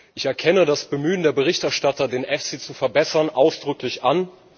Ich erkenne das Bemühen der Berichterstatter, den EFSI zu verbessern, ausdrücklich an.